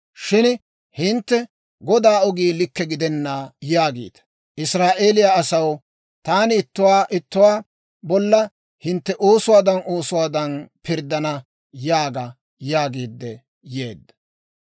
Shin hintte, «Godaa ogii likke gidenna» yaagiita. Israa'eeliyaa asaw, taani ittuwaa ittuwaa bolla hintte oosuwaadan oosuwaadan pirddana› yaaga» yaagiidde yeedda.